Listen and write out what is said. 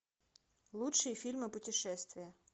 лучшие фильмы путешествия